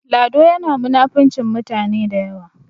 Lado yana munafincin mutane da yawa